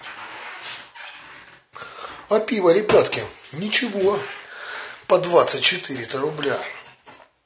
а пиво ребятки ни чего по двадцать четыре рубля